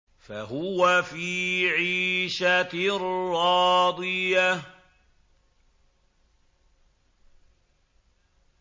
فَهُوَ فِي عِيشَةٍ رَّاضِيَةٍ